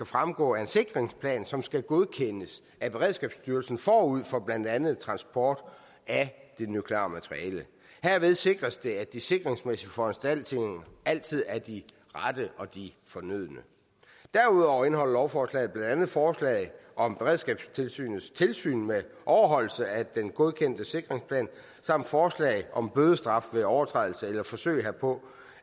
fremgå af en sikringsplan som skal godkendes af beredskabsstyrelsen forud for blandt andet transport af det nukleare materiale herved sikres det at de sikringsmæssige foranstaltninger altid er de rette og de fornødne derudover indeholder lovforslaget blandt andet forslag om beredskabstilsynets tilsyn med overholdelse af den godkendte sikringsplan samt forslag om bødestraf ved overtrædelse eller forsøg herpå